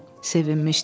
Sevinmişdi.